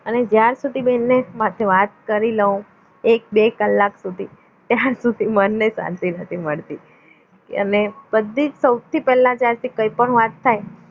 અને જાર સુધી બહેનને માર જોડે વાત કરી લઉં એક બે કલાક સુધી ત્યાં સુધી મનને શાંતિ નથી મળતી અને બધી જ સૌથી પહેલા કોઈ પણ વાત થાય